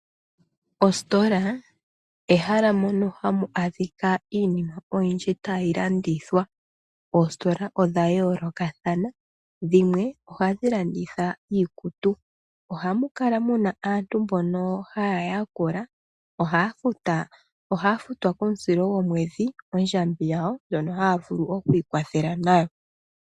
Ositola ehala mono hamu adhika iinima oyindji tayi landithwa. Oositola odha yoolokathana, dhimwe ohadhi landitha iikutu. Ohamu kala muna aantu mbono ha yakula, ohaya futwa komusilo gomwedhi ondjambi yawo, ndjono haya vulu oku ikwathela nayo.